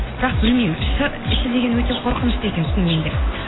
бірақ білмеймін іші деген өте қорқынышты екен шынымен де